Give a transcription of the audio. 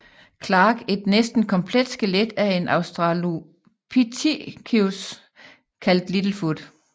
Clarke et næsten komplet skelet af en Australopithecus kaldt Little Foot